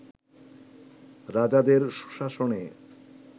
রাজাদের সুশাসনে